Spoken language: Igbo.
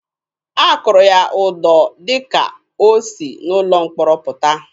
A kụrụ ya ụdọ dịka o si n'ụlọ mkpọrọ pụta.